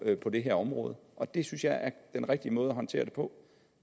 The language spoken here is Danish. på det her område og det synes jeg er den rigtige måde at håndtere det på